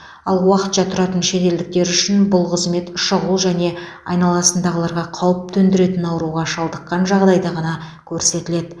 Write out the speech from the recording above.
ал уақытша тұратын шетелдіктер үшін бұл қызмет шұғыл және айналасындағыларға қауіп төндіретін ауруға шалдыққан жағдайда ғана көрсетіледі